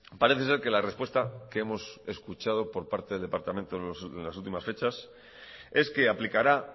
parece ser que la respuesta que hemos escuchado por parte del departamento en las últimas fechas es que aplicará